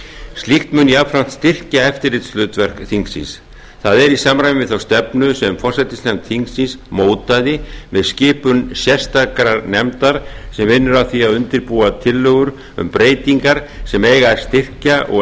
slíkt mun jafnframt styrkja eftirlitshlutverk þingsins það er í samræmi við þá stefnu sem forsætisnefnd þingsins mótaði með skipun sérstakrar nefndar sem vinnur að því að undirbúa tillögur um breytingar sem eiga að styrkja og